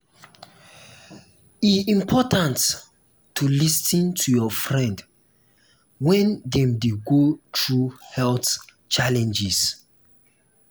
e important to lis ten to your friend when dem dey go through health challenges.